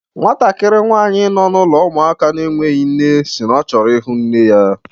Nwatakịrị nwsanyị nọ n'ụlọ ụmụaka na-enweghị nne si na ọ chọrọ ịhụ nne ya